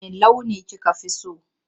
Wanne launi kika fi so?